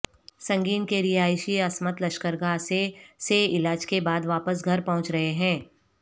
سنگین کے رہائشی عصمت لشکرگاہ سےسے علاج کے بعد واپس گھر پہنچ رہے ہیں